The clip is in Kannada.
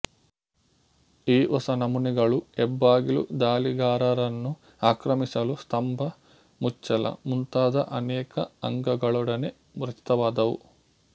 ಈ ಹೊಸ ನಮೂನೆಗಳು ಹೆಬ್ಬಾಗಿಲು ದಾಳಿಗಾರರನ್ನು ಆಕ್ರಮಿಸಲು ಸ್ತಂಭ ಮುಚ್ಚಳ ಮುಂತಾದ ಅನೇಕ ಅಂಗಗಳೊಡನೆ ರಚಿತವಾದುವು